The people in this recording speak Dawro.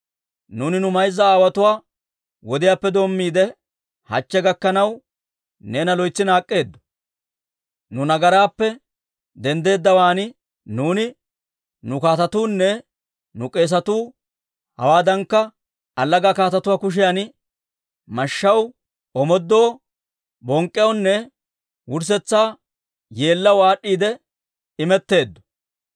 Nuuni nu mayza aawotuwaa wodiyaappe doommiide, hachche gakkanaw, neena loytsi naak'k'eeddo. Nu nagaraappe denddeddawaan nuuni, nu kaatetuunne nu k'eesatuu ha"iwaadankka allaga kaatetuwaa kushiyan mashshaw, omoodoo, bonk'k'iyaawaanne wurssetsa yeellaw aad'd'iide imetteeddo.